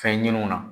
Fɛn ɲininiw na